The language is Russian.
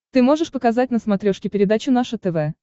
ты можешь показать на смотрешке передачу наше тв